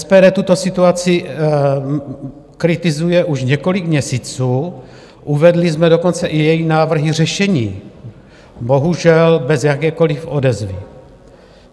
SPD tuto situaci kritizuje už několik měsíců, uvedli jsme dokonce i její návrhy řešení, bohužel bez jakékoliv odezvy.